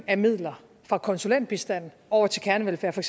af midler fra konsulentbistand over til kernevelfærd for